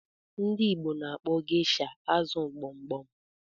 Ndị Igbo na-akpọ geisha azụ gbogbom